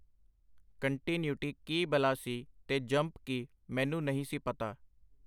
Continuity ਕੀ ਬਲਾ ਸੀ ਤੇ ਜੰਪ ਕੀ, ਮੈਨੂੰ ਨਹੀਂ ਸੀ ਪਤਾ.